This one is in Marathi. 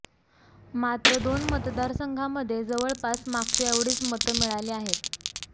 मात्र दोन मतदारसंघांमध्ये जवळपास मागच्या एवढीच मतं मिळाली आहेत